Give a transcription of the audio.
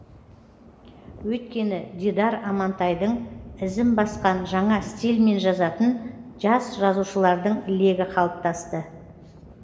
өйткені дидар амантайдың ізін басқан жаңа стильмен жазатын жас жазушылардың легі қалыптасты